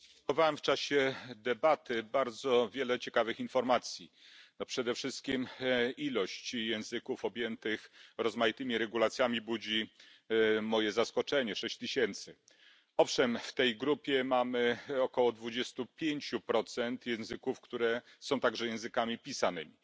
Panie Przewodniczący! Odnotowałem w czasie debaty bardzo wiele ciekawych informacji. Przede wszystkim liczba języków objętych rozmaitymi regulacjami budzi moje zaskoczenie 6tys. Owszem w tej grupie mamy około 25 procent języków, które są także językami pisanymi.